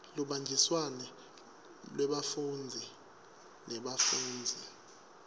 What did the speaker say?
lubanjiswano lwebafundzi nebafundzisi